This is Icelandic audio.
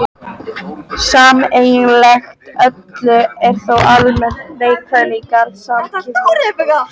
Sameiginlegt öllum er þó almenn neikvæðni í garð samkynhneigðs fólks.